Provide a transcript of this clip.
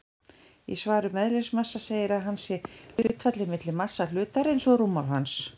Í svari um eðlismassa segir að hann sé hlutfallið milli massa hlutarins og rúmmáls hans.